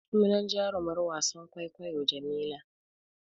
Sunan jarumar wasan kwaikwayon Jamila.